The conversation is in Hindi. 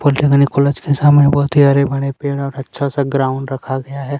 पॉलीटेक्नीक कॉलेज के सामने बहुत ही हरे-भरे पेड़ है और अच्छा सा ग्राउंड रखा गया है।